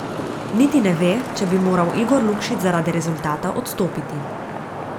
Niti ne ve, če bi moral Igor Lukšič zaradi rezultata odstopiti.